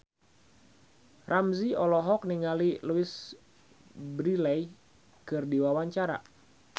Ramzy olohok ningali Louise Brealey keur diwawancara